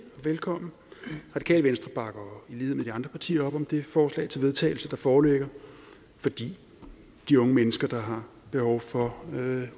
velkommen radikale venstre bakker i lighed med de andre partier op om det forslag til vedtagelse der foreligger fordi de unge mennesker der har behov for